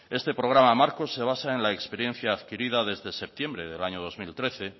este programa marco se basa en la experiencia adquirida desde septiembre del año dos mil trece